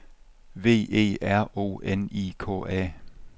V E R O N I K A